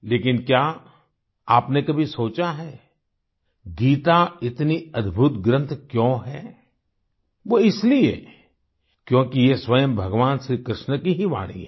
लेकिन क्या आपने कभी सोचा है गीता इतनी अद्भुत ग्रन्थ क्यों है वो इसलिए क्योंकि ये स्वयं भगवन श्रीकृष्ण की ही वाणी है